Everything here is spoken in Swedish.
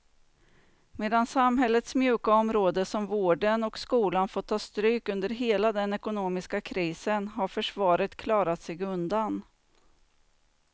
Medan samhällets mjuka områden som vården och skolan fått ta stryk under hela den ekonomiska krisen har försvaret klarat sig undan.